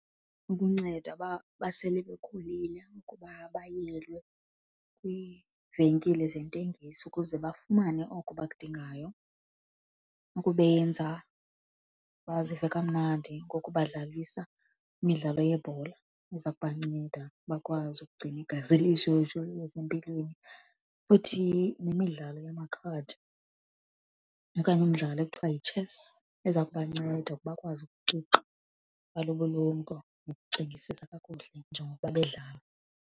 Ukunceda uba basele bekhulile kuba bayelwe kwiivenkile zentengiso ukuze bafumane oko abakudingayo, ukubenza bazive kamnandi ngokubadlalisa imidlalo yebhola eza kubanceda bakwazi ukugcina igazi lishushu libe sempilweni. Futhi nemidlalo yamakhadi okanye umdlalo ekuthiwa yi-chess eza kubanceda bakwazi ukuqiqa ulumko nokucingisisa kakuhle njengokuba bedlala.